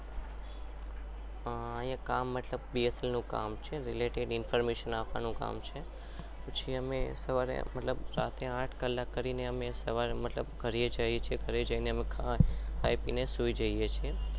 કામ મતલબ એટલું કામ છે સાત થી આઠ